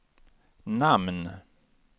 namn